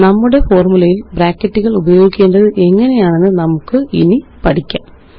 നമ്മുടെ ഫോര്മുലയില് ബ്രാക്കറ്റുകള് ഉപയോഗിക്കേണ്ടത് എങ്ങനെയെന്ന് നമുക്കിനി പഠിക്കാം